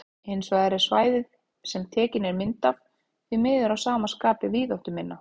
Hins vegar er svæðið sem tekin er mynd af því miður að sama skapi víðáttuminna.